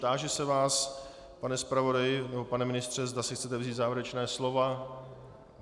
Táži se vás, pane zpravodaji nebo pane ministře, zda si chcete vzít závěrečné slovo.